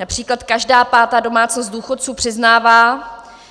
Například každá pátá domácnost důchodců přiznává,